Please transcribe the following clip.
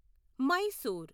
Mysore